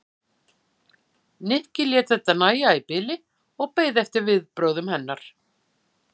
Nikki lét þetta nægja í bili og beið eftir viðbrögðum hennar.